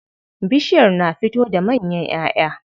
Bishiyar na fito da manyan ƴaʼƴa.